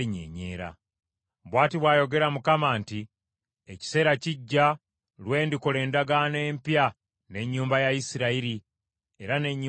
Bw’ati bw’ayogera Mukama nti, “Ekiseera kijja, lwe ndikola endagaano empya n’ennyumba ya Isirayiri era n’ennyumba ya Yuda.